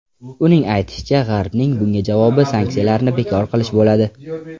Uning aytishicha, G‘arbning bunga javobi sanksiyalarni bekor qilish bo‘ladi.